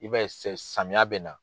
I b'a ye sɛ samiya bɛ na.